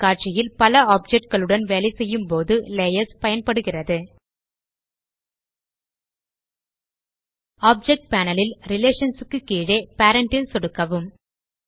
ஒரு காட்சியில் பல ஆப்ஜெக்ட் களுடன் வேலை செய்யும்போது லேயர்ஸ் பயன்படுகிறது ஆப்ஜெக்ட் பேனல் ல் ரிலேஷன்ஸ் க்கு கீழே பேரண்ட் ல் சொடுக்கவும்